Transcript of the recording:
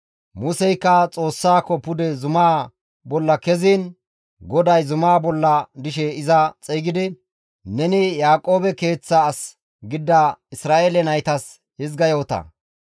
Museykka Xoossaako pude zumaa bolla keziin GODAY zumaa bolla dishe iza xeygidi, «Neni Yaaqoobe keeththa as gidida Isra7eele naytas hizga yoota;